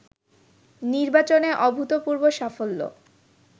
নির্বাচনে অভুতপূর্ব সাফল্য